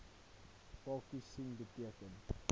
pyltjies sien beteken